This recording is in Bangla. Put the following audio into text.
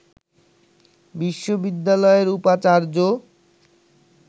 বিশ্ববিদ্যালয়ের উপাচার্য